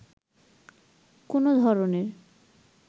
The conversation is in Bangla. কোনো ধরনের